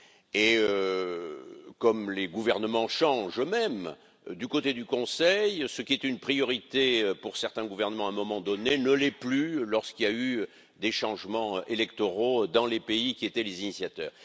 Et comme les gouvernements changent eux mêmes, du côté du Conseil, ce qui est une priorité pour certains gouvernements à un moment donné ne l'est plus lorsqu'il y a eu des changements électoraux dans les pays qui étaient les initiateurs.